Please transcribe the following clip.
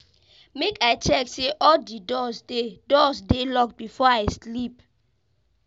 Make I check say all di doors dey doors dey locked before I sleep.